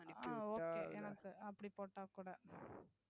அஹ் okay எனக்கு அப்படி போட்ட கூட.